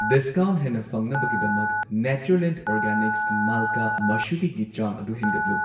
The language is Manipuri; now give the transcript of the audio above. ꯗꯤꯁꯀꯥꯎꯟꯠ ꯍꯦꯟꯅ ꯐꯪꯅꯕꯒꯤꯗꯃꯛ ꯅꯦꯆꯔꯂꯦꯟꯗ ꯑꯣꯔꯒꯥꯅꯤꯛꯁ ꯃꯜꯀꯥ ꯃꯁꯨꯔꯤꯒꯤ ꯆꯥꯡ ꯑꯗꯨ ꯍꯦꯟꯒꯠꯂꯨ꯫